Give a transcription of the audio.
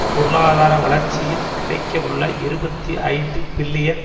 பொருளாதார வளர்ச்சியில் கிடைக்கவுள்ள இருபத்தி ஐந்து பில்லியன்